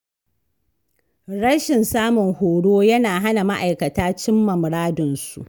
Rashin samun horo yana hana ma’aikata cimma muradunsu.